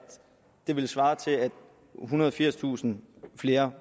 ethundrede og firstusind flere